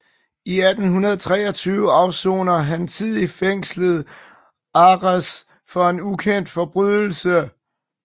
I 1823 afsoner han tid i fængslet Arras for en ukendt forbrydelse